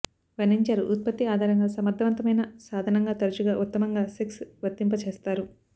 వర్ణించారు ఉత్పత్తి ఆధారంగా సమర్థవంతమైన సాధనంగా తరచుగా ఉత్తమంగా సెక్స్ వర్తింపచేస్తారు